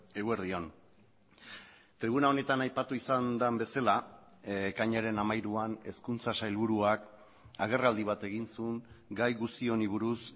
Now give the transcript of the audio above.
eguerdi on tribuna honetan aipatu izan den bezala ekainaren hamairuan hezkuntza sailburuak agerraldi bat egin zuen gai guzti honi buruz